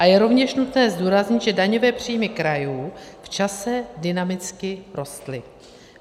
A je rovněž nutné zdůraznit, že daňové příjmy krajů v čase dynamicky rostly.